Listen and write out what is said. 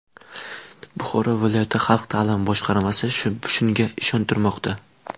Buxoro viloyati xalq ta’limi boshqarmasi shunga ishontirmoqda.